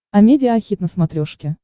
амедиа хит на смотрешке